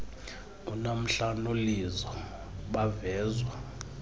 unamhla nolizo bavezwa